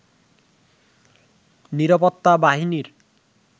নিরাপত্তা বাহিনীর